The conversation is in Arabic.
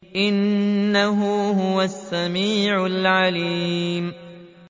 إِنَّهُ هُوَ السَّمِيعُ الْعَلِيمُ